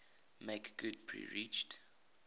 make good perceived